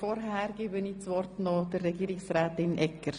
Vorher erteile ich das Wort Regierungsrätin Egger.